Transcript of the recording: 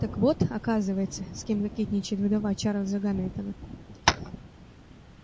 так вот оказывается с кем кокетничает вдова чарлза гамильтона